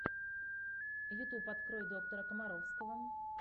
ютуб открой доктора комаровского